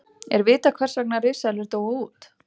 er vitað hvers vegna risaeðlur dóu út